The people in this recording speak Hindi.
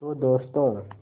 तो दोस्तों